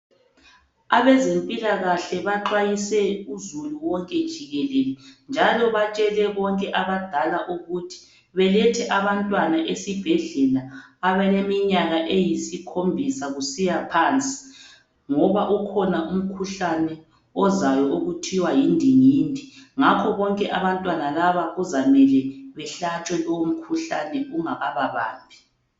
Abezempilakahle baxwayise uzulu wonke jikelele, njalo batshele bonke abadala ukuthi balethe abantwana esibhedlela abaleminyaka eyisikhombisa kusiya phansi ngoba ukhona umkhuhlane ozayo okuthiwa yindingindi ngakho bonke abantwana laba kuzamele behlatshwe lowo mkhuhlane ungakababambi..